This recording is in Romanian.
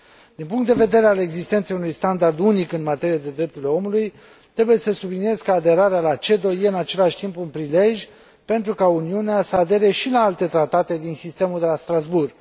Din punct de vedere al existenței unui standard unic în materie de drepturile omului, trebuie să subliniez că aderarea la CEDO este, în același timp, un prilej pentru ca Uniunea să adere și la alte tratate din sistemul de la Strasbourg.